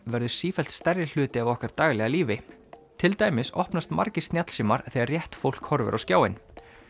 verður sífellt stærri hluti af okkar daglega lífi til dæmis opnast margir snjallsímar þegar rétt fólk horfir á skjáinn